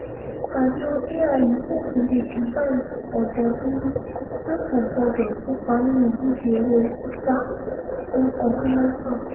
àjọ aiu fòfin de divine ọ̀dọ́dùrú pé kò gbọ́dọ̀ kópa nínú ìdíje eré sísá fún ọdún mẹ́fà